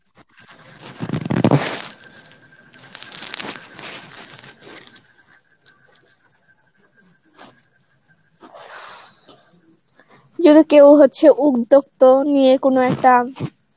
যদি কেউ হচ্ছে উদ্দোগ তো নিয়ে কোনো একটা